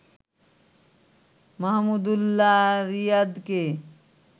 Mahmudullah রিয়াদকে